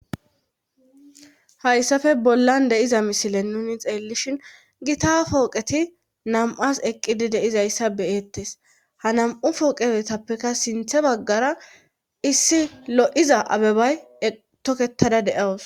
hayssafe bollan deiza misile nuni xeellishin gita kooqeti nam7as eqqidi deizayssa beeettes ha nam7u fooqefetappeka sinthe baggara issi lo7iza abebay toketada de7awus